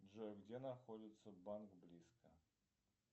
джой где находится банк близко